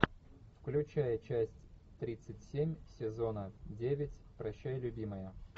включай часть тридцать семь сезона девять прощай любимая